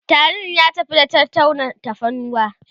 tarin ya tafi da ta tauna tafarnuwa